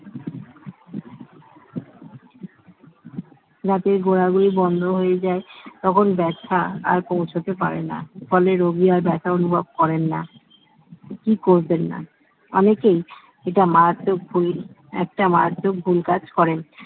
দাঁতের গোড়াগুলি বন্ধ হয়ে যায় তখন ব্যথা আর পৌঁছাতে পারেনা ফলে রোগী আর ব্যথা অনুভব করেন না কি করবেন না অনেকেই এটা মারাত্মক ভুল কাজ করেন